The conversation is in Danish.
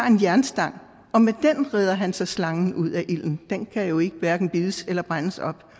en jernstang og med den redder han så slangen ud af ilden den kan jo hverken bides eller brænde